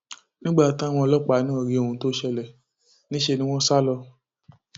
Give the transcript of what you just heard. nígbà táwọn ọlọpàá náà rí ohun tó ṣẹlẹ níṣẹ ni wọn sá lọ